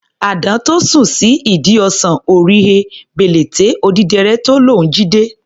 Àdán tó sùn sí ìdí ọsàn, ò rí he, bèlèté odídẹrẹ́ tó lóun jí dé.